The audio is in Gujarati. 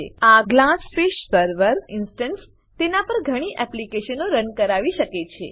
આ GlassFish server GlassFish server instance તેના પર ઘણી એપ્લીકેશનો રન કરાવી શકે છે